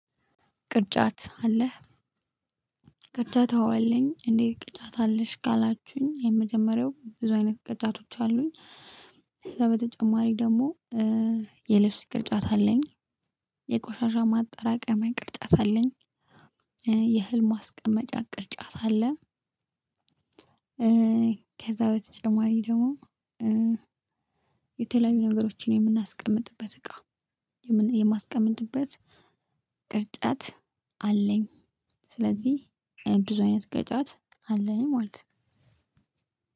ቅርጫት አለህ? ቅርጫት አዎ አለኝ እንዴ? ቅርጫት አለሽ ካላችሁኝ የመጀመሪያው ብዙ አይነት ቅርጫቶች አሉኝ። በተጨማሪ ደግሞ የልብስ ቅርጫት አለኝ። የቆሻሻ ማጠራቀሚያ ቅርጫት አለኝ የ የእህል ማስቀመጫ ቅርጫት አለ። ከዛ በተጨማሪ ደግሞ የተለያዩ ነገሮችን የምናስቀምጥበት እቃ የምን የማስቀምጥበት ቅርጫት አለኝ። ስለዚህ ብዙ አይነት ቅርጫት አለኝ ማለት።